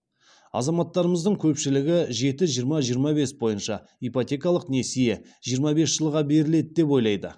азаматтарымыздың көпшілігі жеті жиырма жиырма бес бойынша ипотекалық несие жиырма бес жылға беріледі деп ойлайды